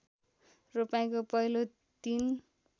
रोपाइँको पहिलो दिन